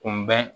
Kunbɛn